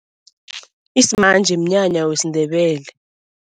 Isimanje mnyanya wesiNdebele.